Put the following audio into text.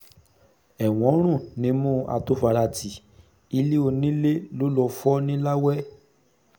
ẹ̀wọ̀n ń rùn nímú àtofaràti ilé onílé ló lọ fọ́ ńiláwé